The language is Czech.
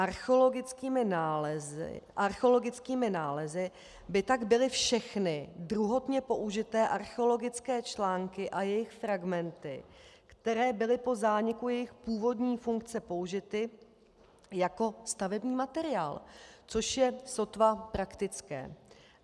Archeologickými nálezy by tak byly všechny druhotně použité archeologické články a jejich fragmenty, které byly po zániku jejich původní funkce použity jako stavební materiál, což je sotva praktické.